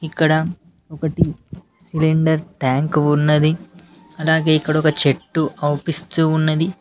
ఇక్కడ ఒకటి cylinder tank ఉన్నది అలాగే ఇక్కడ ఒక చెట్టు కనిపిస్తూ ఉన్నది.